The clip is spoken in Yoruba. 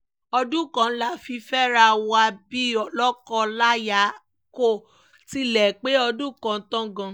ọdún kan la fi fẹ́ra wa bíi lóko láyà kó tilẹ̀ pé ọdún kan tán gan